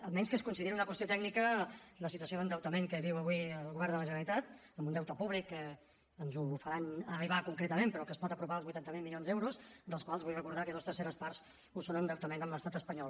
a menys que es consideri una qüestió tècnica la situació d’endeutament que viu avui el govern de la generalitat amb un deute públic ens ho faran arribar concretament però que es pot apropar als vuitanta miler milions d’euros dels quals vull recordar que dues terceres parts ho són d’endeutament amb l’estat espanyol